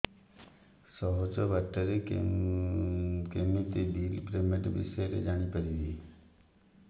ସହଜ ବାଟ ରେ କେମିତି ବିଲ୍ ପେମେଣ୍ଟ ବିଷୟ ରେ ଜାଣି ପାରିବି